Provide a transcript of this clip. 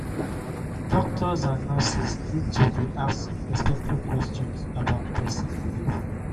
doctors and nurses need to dey ask respectful question about person belief.